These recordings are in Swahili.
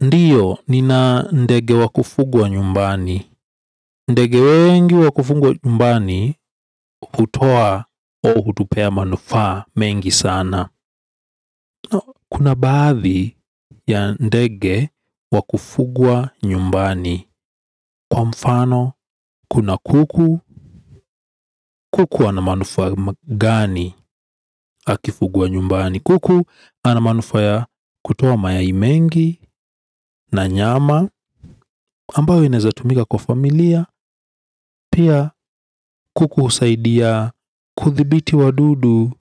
Ndiyo nina ndege wakufugwa nyumbani. Ndege wengi wakufugwa nyumbani hutoa o hutupea manufaa mengi sana. Kuna baadhi ya ndege wakufugwa nyumbani. Kwa mfano kuna kuku. Kuku ana manufaa gani akifugwa nyumbani. Kuku ana manufaa kutoa mayai mengi na nyama ambayo inaezatumika kwa familia. Pia kuku husaidia kuthibiti wadudu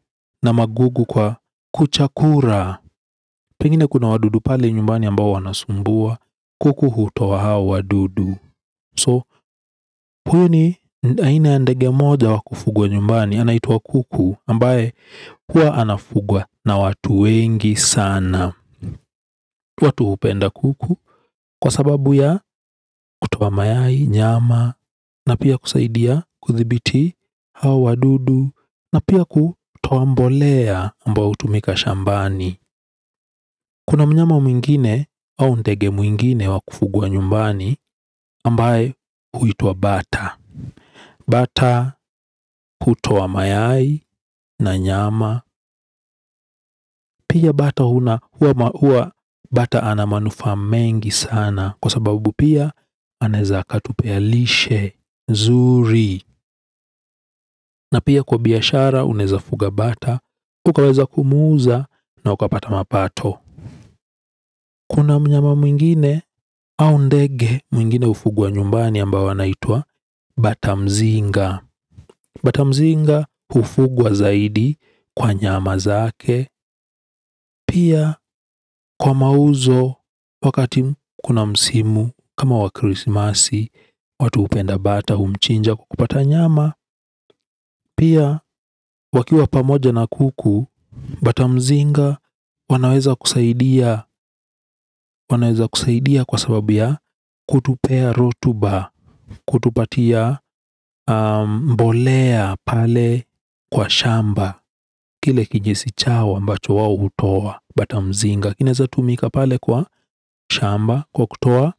na magugu kwa kuchakura. Pengine kuna wadudu pale nyumbani ambao wanasumbua. Kuku hutoa hao wadudu So puni ni aina ndege moja wakufugwa nyumbani. Anaitwa kuku ambaye hua anafugwa na watu wengi sana. Watu hupenda kuku kwa sababu ya kutoa mayai nyama na pia kusaidia kuthibiti hao wadudu na pia kutoa mbolea ambao hutumika shambani. Kuna mnyama mwingine au ndege mwingine wakufugwa nyumbani ambaye huitwa bata. Bata hutoa mayai na nyama. Pia bata huwa bata ana manufaa mengi sana. Kwa sababu pia anaeza akatupea lishe zuri na pia kwa biashara unaeza fuga bata, ukaweza kumuuza na ukapata mapato. Kuna mnyama mwingine au ndege mwingine hufugwa nyumbani ambao wanaitwa batamzinga. Batamzinga hufugwa zaidi kwa nyama zake. Pia kwa mauzo wakati kuna msimu kama wa kirisimasi. Watu hupenda bata humchinja kupata nyama. Pia wakiwa pamoja na kuku, batamzinga wanaweza kusaidia kwa sababu ya kutupea rotuba, kutupatia mbolea pale kwa shamba, kile kijisichawa ambacho wao hutoa batamzinga. Lakini inaeza tumika pale kwa shamba kwa kutoa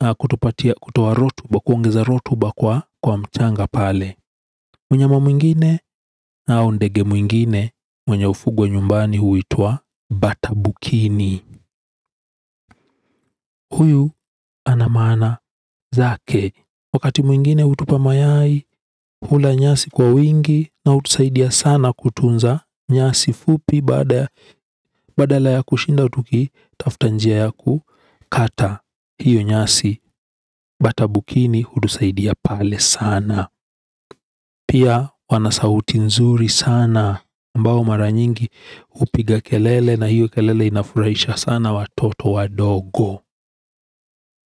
na kutupatia kutoa rotuba, kuongeza rotuba kwa mchanga pale. Mnyama mwingine au ndege mwingine mwenye hufugwa nyumbani huitwa batabukini. Huyu ana maana zake. Wakati mwingine hutupa mayai hula nyasi kwa wingi na hutusaidia sana kutunza nyasi fupi badala ya kushinda tukitafta njia ya kukata. Hiyo nyasi, batabukini hutusaidia pale sana. Pia wana sauti nzuri sana ambao mara nyingi hupiga kelele na hiyo kelele inafurahisha sana watoto wadogo.